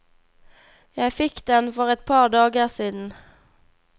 Jeg fikk den for et par dager siden.